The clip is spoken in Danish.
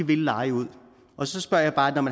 vil leje ud og så spørger jeg bare om